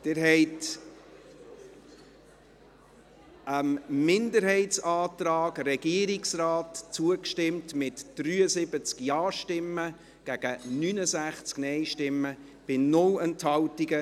Sie haben dem Antrag der Minderheit und der Regierung zugestimmt, mit 73 Ja- gegen 69 Nein-Stimmen bei 0 Enthaltungen.